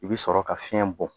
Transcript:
I bi sɔrɔ ka fiɲɛ bɔ